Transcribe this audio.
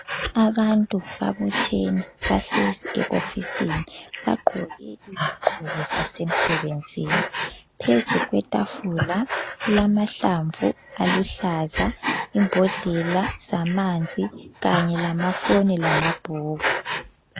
Abantu babuthene bahlezi ehofisini. Bagqoke izigqoko zasemsebenzini. Phezu kwetafula kulamahlamvu aluhlaza, imbodlela zamanzi kanye lamafoni lamabhuku.